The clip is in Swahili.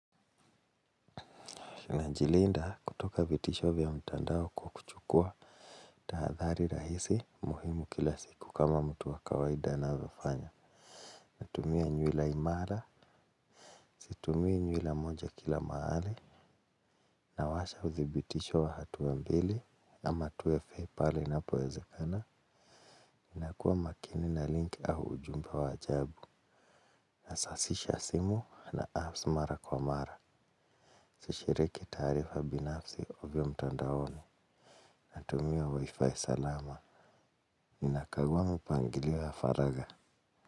Najilinda kutoka vitisho vya mtandao kwa kuchukua tahadhari rahisi muhimu kila siku kama mtu wa kawaida anavyofanya. Natumia nywila imara, situmii nywila moja kila mahali. Nawasha udhibitisho wa hatua mbili ama tuwe fei pale inapoezekana. Inakuwa makini na link au ujumba wa ajabu. Nasasisha simu na apps mara kwa mara. Sishiriki tarifa binafsi ovyo mtandaoni. Natumia wi fi salama ni nakagua mipangilio ya faraga.